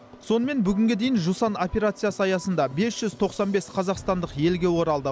сонымен бүгінге дейін жусан операциясы аясында бес жүз тоқсан бес қазақстандық елге оралды